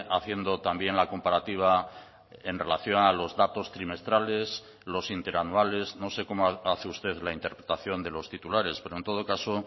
haciendo también la comparativa en relación a los datos trimestrales los interanuales no sé cómo hace usted la interpretación de los titulares pero en todo caso